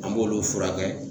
An b'olu furakɛ